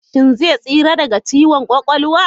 Shin zai tsira daga ciwon kwakwalwa?